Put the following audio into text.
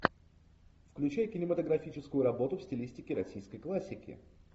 включай кинематографическую работу в стилистике российской классики